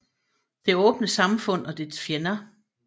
Det åbne samfund og dets fjender